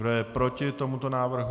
Kdo je proti tomuto návrhu?